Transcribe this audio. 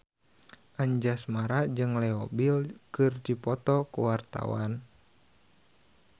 Anjasmara jeung Leo Bill keur dipoto ku wartawan